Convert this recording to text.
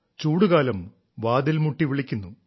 ചൂടുകാലം വാതിൽ മുട്ടിവിളിക്കുന്നു